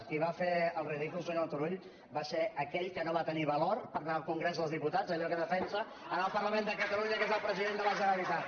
qui va fer el ridícul senyor turull va ser aquell que no va tenir valor per anar al congrés dels diputats amb allò que defensa al parlament de catalunya que és el president de la generalitat